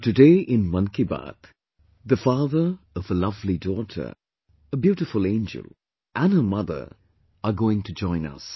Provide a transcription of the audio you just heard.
So today in Mann Ki Baat a lovely daughter, a father of a beautiful angel and her mother are going to join us